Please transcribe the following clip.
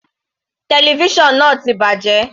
Television náà ti bàjẹ́.